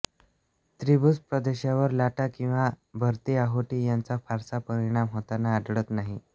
त्रिभुज प्रदेशावर लाटा किंवा भरतीओहोटी यांचा फारसा परिणाम होताना आढळत नाही